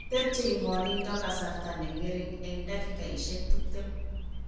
Tepye ng'wanindo kasarta ne ng'ering' eng' dakikaishek tuptem.